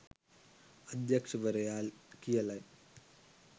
අධ්‍යක්ෂවරයා කියලයි.